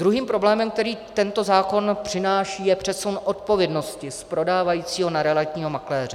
Druhým problémem, který tento zákon přináší, je přesun odpovědnosti z prodávajícího na realitního makléře.